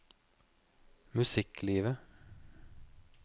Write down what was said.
musikklivet